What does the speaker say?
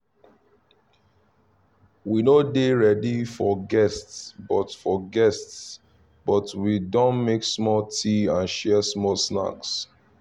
we no dey ready for guests but for guests but we don make small tea and share small snacks